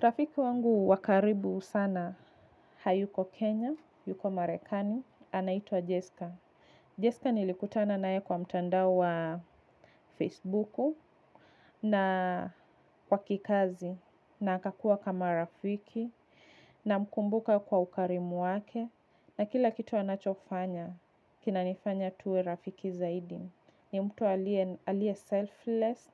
Rafiki wangu wa karibu sana hayuko Kenya, yuko Marekani, anaitwa Jessica. Jessica nilikutana nae kwa mtanda wa Facebook na kwa kikazi na akakua kama rafiki namkumbuka kwa ukarimu wake na kila kitu anachofanya kina nifanya tuwe rafiki zaidi. Ni mtu alie selfless